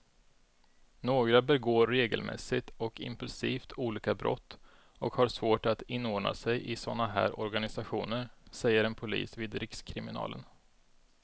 Några begår regelmässigt och impulsivt olika brott och har svårt att inordna sig i såna här organisationer, säger en polis vid rikskriminalen.